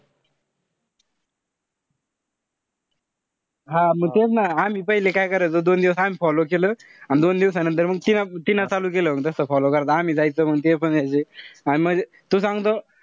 हा म तेच ना. आम्ही पहिले काय करायचो, दोन दिवस आधी follow केलं. अन दोन दिवसानंतर तीना तिनं चालू केलं, तस follow करता. आम्ही जायचो मंग ते पण यायचे. म्हणजे तुल सांगतो,